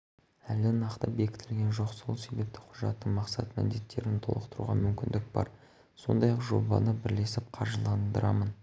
әлі нақты бекітілген жоқ сол себепті құжаттың мақсат-міндеттерін толықтыруға мүмкіндік бар сондай-ақ жобаны бірлесіп қаржыландырамын